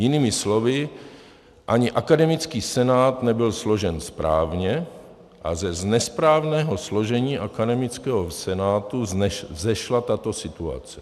Jinými slovy, ani akademický senát nebyl složen správně a z nesprávného složení akademického senátu vzešla tato situace.